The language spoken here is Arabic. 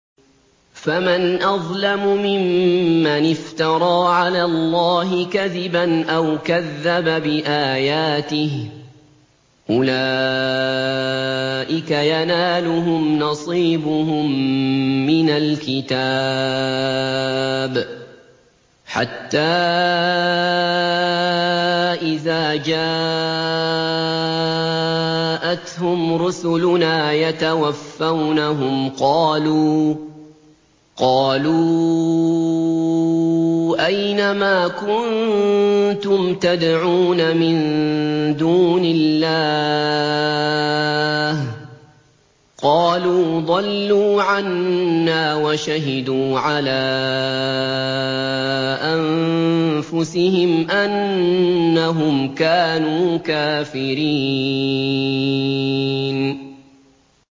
فَمَنْ أَظْلَمُ مِمَّنِ افْتَرَىٰ عَلَى اللَّهِ كَذِبًا أَوْ كَذَّبَ بِآيَاتِهِ ۚ أُولَٰئِكَ يَنَالُهُمْ نَصِيبُهُم مِّنَ الْكِتَابِ ۖ حَتَّىٰ إِذَا جَاءَتْهُمْ رُسُلُنَا يَتَوَفَّوْنَهُمْ قَالُوا أَيْنَ مَا كُنتُمْ تَدْعُونَ مِن دُونِ اللَّهِ ۖ قَالُوا ضَلُّوا عَنَّا وَشَهِدُوا عَلَىٰ أَنفُسِهِمْ أَنَّهُمْ كَانُوا كَافِرِينَ